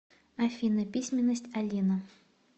афина письменность алина